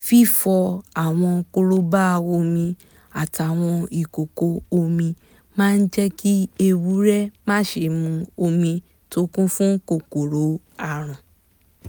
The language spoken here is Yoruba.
fífọ àwọn korobá omi àtàwọn ìkòkò omi máa jẹ́ kí ewúrẹ́ má ṣe mu omi tó kún fún kòkòrò àrùn